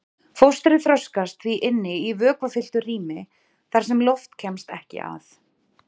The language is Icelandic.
Fóstrið þroskast því inni í vökvafylltu rými þar sem loft kemst ekki að.